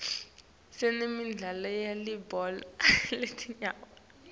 sinemidlalo yelibhola letinyawo